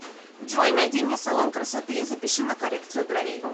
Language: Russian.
джой найди мне салон красоты и запиши на коррекцию бровей